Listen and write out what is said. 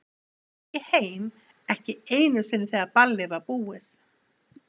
Ég fór ekki heim ekki einu sinni þegar ballið var búið.